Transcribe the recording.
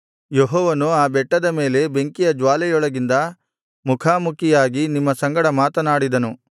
ಯೆಹೋವನು ಆ ಬೆಟ್ಟದ ಮೇಲೆ ಬೆಂಕಿಯ ಜ್ಞಾಲೆಯೊಳಗಿಂದ ಮುಖಾಮುಖಿಯಾಗಿ ನಿಮ್ಮ ಸಂಗಡ ಮಾತನಾಡಿದನು